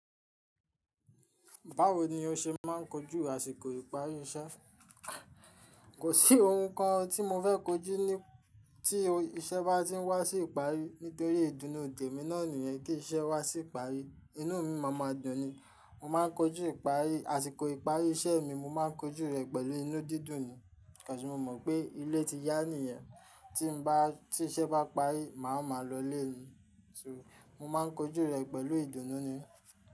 Báwo ni o ṣe máa ń kojú àsìkò ìparí iṣẹ́? Kò sí ohun kan tí mo fẹ́ kojú ní tí iṣẹ́ bá ti ń wá sí ìparí nítorí ìdùnnú temi náà nìyẹn kí iṣẹ́ wá sí ìparí. Inú mi máa ma dùn ni. Mo máa ń kojú ìparí, àsìkò ìparí iṣẹ́ mi mo má ń kojú rẹ̀ pẹ̀lú inú dídùn ni. Because, mo mọ̀ pé ilé ti yá nìyẹn. Tí n bá tí iṣẹ́ bá parí, màá wa ma lọlé ni. So mo má ń kojú rẹ̀ pẹ̀lú ìdùnnú ni.